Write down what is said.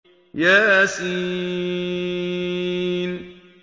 يس